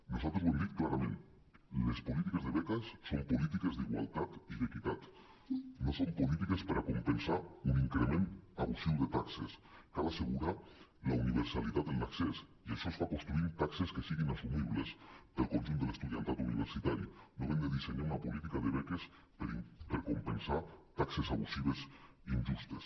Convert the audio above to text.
no·saltres ho hem dit clarament les polítiques de beques són polítiques d’igualtat i d’equitat no són polítiques per a compensar un increment abusiu de taxes cal as·segurar la universalitat en l’accés i això es fa construint taxes que siguin assumi·bles pel conjunt de l’estudiantat universitari no havent de dissenyar una política de beques per compensar taxes abusives injustes